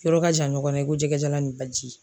Yɔrɔ ka jan ɲɔgɔn na i ko jɛgɛ jala ni baji.